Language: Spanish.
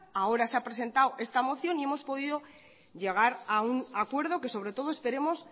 ahora se ha presentado esta moción y hemos podido llegar a un acuerdo que sobre todo esperemos